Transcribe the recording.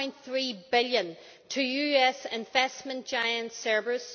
1.3 billion to US investment giant Cerberus.